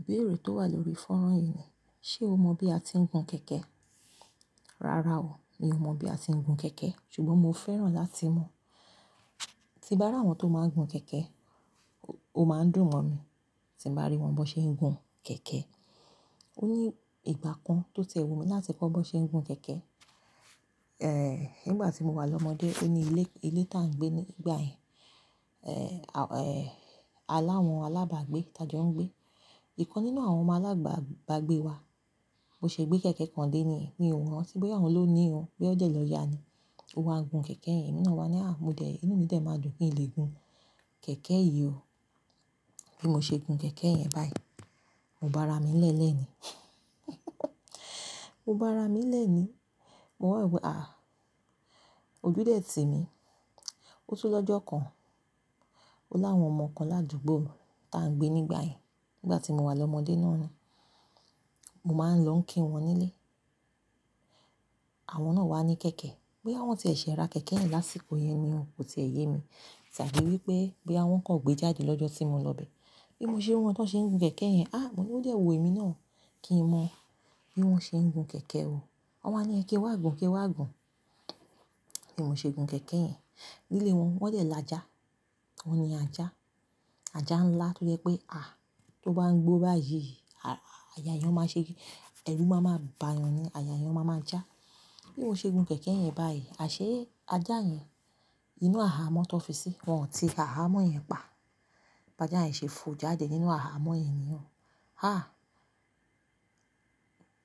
Ìbéèrè tó wà lórí fọ́nrán yìí ni, ṣe o mọ bí a ti ń gun kẹ̀kẹ́? Rárá o, mi ò mọ̀ bí a ti ń gun kẹ̀kẹ́, ṣùgbọ́n mo fẹ́ràn láti mọ̀. Ti bá ri àwọn tó máa ń gun kẹ̀kẹ́, o máa ń dùn mọ́ mi. Tí mo bá rí wọn bi won ṣe ń gun kẹ̀kẹ́. Ó ní ìgbà kan tó wu mi láti kọ́ bó ṣe ń gun kẹ̀kẹ́, nígbà tí mo wà lọ́mọdé, oní ilé, ilé tá ń gbé nígbà yẹn, aláwọn alábàgbé tá jọ ń gbé. Ìkan nínú àwọn ọmọ alábàgbé wa, bo ṣe gbé kẹ̀kẹ́ kan dé ní, mi ò mọ̀ bóyá òun ló ní ò, bí ó dẹ̀ lọ yá ni. Ó wá gun kẹ̀kẹ́ yẹn, emi wa ni inú mi dẹ̀ máa dùn ki n lè gun kẹ̀kẹ́ yìí o." Bí mo ṣe gun kẹ̀kẹ́ yẹn báyìí, mo bá ra mi lélẹ̀ ni. Mo bá ra mi lélẹ̀ ni. Mo wá wo, à, ojú dẹ̀ ti mi. Ó tú lọ́jọ́ kan, ó láwọn ọmọ kan ládùúgbò tá ń gbé nígbà yẹn, nígbà tí mo wà lọ́mọdé náà ni. Mo máa ń lọ kí wọn nílé. Àwọn náà wá ní kẹ̀kẹ́, bóyá wọ́n ti ẹ̀ ṣe ra kẹ̀kẹ́ yẹn lásìkò yẹn ni ò, kò sì ẹ̀ yé mi, tàbí wípé, bóyá wọ́n kọ̀ gbé jáde lọ́jọ́ tí mo lọ bẹ́. Bí mo ṣe rí wọn bi won ṣe ń gun kẹ̀kẹ́ yẹn, mo ní ó dẹ̀ wu èmi náà kí n mọ bí wọ́n ṣe ń gun kẹ̀kẹ́ o. Wọn wá ní, "ki wá gun, ki wá gun." Bí mo ṣe gun kẹ̀kẹ́ yẹn, nílé wọn, wọ́n dẹ̀ lajà, wọn ni ajá. Ajá ńlá tó jẹ́ pé, tó bá ń gbó báyìí, àyà yan máa ṣe, ẹrú máa ma bá yàn ni, àyà yẹn máa ma já. Bí mo ṣe gun kẹ̀kẹ́ yẹn báyìí, àṣé ajá yẹn inú hahamọ́ tó fi sí, wọ́n ò ti hahamọ́ yẹn pa. Ajá yẹn ṣe fo jáde nínú hahamọ́ yẹn ni o.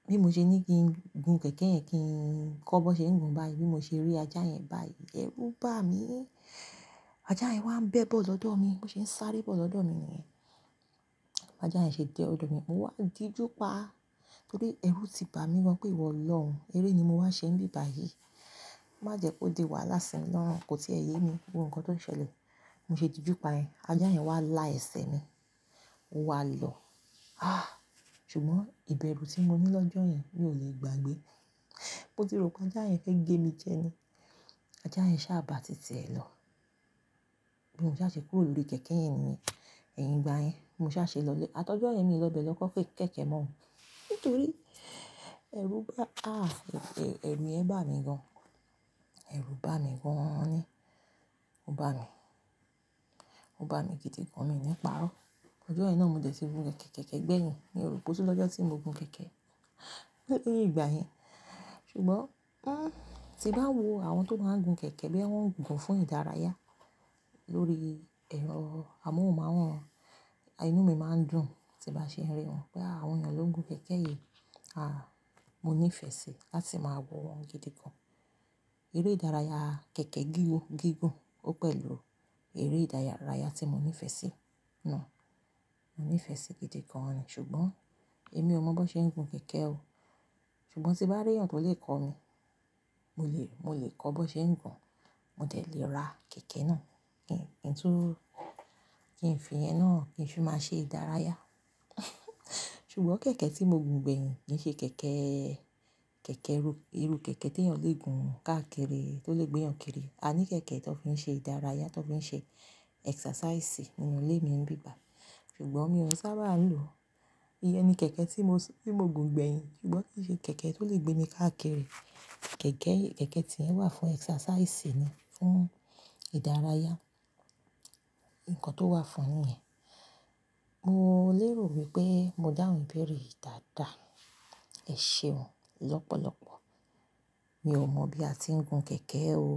Bí mo ṣe ní kí n gun kẹ̀kẹ́ yẹn kí n kọ́ bó ṣe ń gun báyìí, bí mo ṣe rí ajá yẹn báyìí, ẹrú bà mí. Ajá yẹn wá ń bẹ́ bọ́ lọ́dọ̀ mi, mo se ń sáré bọ́ lọ́dọ̀ mi ni ẹ́n. Ajá yẹn ṣe dẹ ọ̀dọ̀ mi. Mo wá dì júpa, torí ẹrú ti bà mí gan pé ìwọ lọ̀ ọ́n, eré ni mo wá ṣe níbi báyìí. Má jẹ́ kó di wàhálà sí mi lọ́run, kò sì ẹ̀ yé mi, gbogbo nǹkan tó ń ṣẹlẹ̀. Mo ṣe dìde júpa yẹn, ajá yẹn wá la ẹ̀sẹ̀ mi, o wá lọ̀. Ṣùgbọ́n ìbẹru tí mo ní lọ́jọ́ yẹn, mi ò lè gbàgbé. Mo ti rò pé ajá yẹn fẹ́ gé mi jẹ ni. Ajá yẹn sá bà ti ti ẹ̀ lọ. Bí mo sá ṣe kúrò lórí kẹ̀kẹ́ yẹn ni ye. Ẹ̀yìn ìgbà yẹn, mo sá ṣe lọlé. A ti ọ́jọ́ yẹ̀n mi lọ bẹ̀ lọ kó kẹ̀kẹ́ mọ́, nítorí ẹrú bá mi, ẹrù yẹn bá mi gan. Ẹrú bà mí gaan ni. Ó bà mí. Ó bà mí gidi gan ni mi ní pa'rọ́. Ọjọ́ yen náà mo dẹ̀ ti gun kẹ̀kẹ́gbẹ̀yìn. Mi ò rò pé otu lọ́jọ́ tí mo gun kẹ̀kẹ́ leyin igbà yẹn. Ṣùgbọ́n, tí bá wo àwọn tó máa ń gun kẹ̀kẹ́ boya wọn ń gun fún ìdárayá lórí ẹ̀rọ amóhùnmáwòrán, inú mi máa ń dùn, tí bá ṣe ń rí wọn pé àwọn ènìyàn ló ń gun kẹ̀kẹ́ yìí. Mo ní ìfẹ̀ sí láti máa wọ̀ wọ́n gidi gan-an. Eré ìdárayá kẹ̀kẹ́ gígùn ó pẹ̀lú eré ìdárayá tí mo ní ìfẹ̀ sí náà. Mo ní ìfẹ̀ sí i gidi gan-an ni, ṣùgbọ́n èmi ò mọ bó ṣe ń gun kẹ̀kẹ́ o. Ṣùgbọ́n tí bá rí ẹ̀yàn tó lè kọ́ mi, mo lè, mo lè kọ́ bó ṣe ń gun, mo dẹ̀ lè ra kẹ̀kẹ́ náà kí n fi ẹye náà kí n fì máa ṣe ìdárayá. Ṣùgbọ́n kẹ̀kẹ́ tí mo gun gbẹ̀yìn kì í ṣe kẹ̀kẹ́, kẹ̀kẹ́ rú, irú kẹ̀kẹ́ tí ènìyàn lè gun káàkiri, tó lè gbé ènìyàn kiri. A ní kẹ̀kẹ́ tó fi ń ṣe ìdárayá, tó fi ń ṣe exercise nínú ilé mi níbí bá. Ṣùgbọ́n mi ò sábà ń lò ó. Iyẹn ni kẹ̀kẹ́ tí mo gun gbẹ̀yìn, ṣùgbọ́n kì í ṣe kẹ̀kẹ́ tó lè gbé mi káàkiri. Kẹ̀kẹ́ tí ẹ́ye wà fún exercise ni, fún ìdárayá. Nǹkan tó wà fún nì yẹn. Mo lérò wípé mo dáhùn ibéèrè yi dáda, ẹ̀ṣe ọ lọ́pọ̀lọ́pọ̀. Mi ò mọ̀ bí a ti ń gun kẹ̀kẹ́ o.